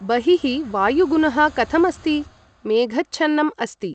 बहिः वायुगुनः कथम् अस्ति? मेघच्छन्नम् अस्ति ।